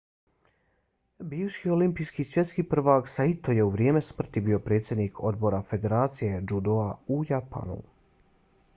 bivši olimpijski i svjetski prvak saito je u vrijeme smrti bio predsjednik odbora federacije džudoa u japanu